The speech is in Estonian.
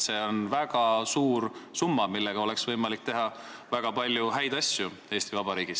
See on väga suur summa, millega oleks võimalik Eesti Vabariigis teha väga palju häid asju.